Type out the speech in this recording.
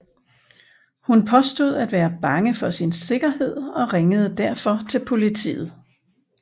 Hun påstod at være bange for sin sikkerhed og ringede derfor til politet